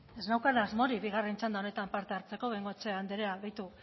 ez neukan asmorik bigarren txanda honetan parte hartzeko bengoechea andrea begiratu